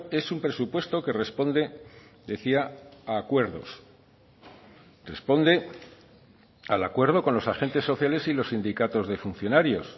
es un presupuesto que responde decía a acuerdos responde al acuerdo con los agentes sociales y los sindicatos de funcionarios